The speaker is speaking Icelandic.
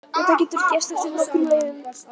Þetta getur gerst eftir nokkrum leiðum.